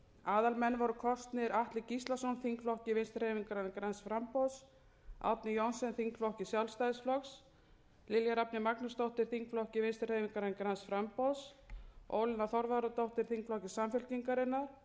aðalmenn voru kosnir atli gíslason þingflokki vinstri hreyfingarinnar græns framboðs árni johnsen þingflokki sjálfstæðisflokks lilja rafney magnúsdóttir þingflokki vinstri hreyfingarinnar græns framboðs ólína þorvarðardóttir þingflokki samfylkingarinnar sigurður ingi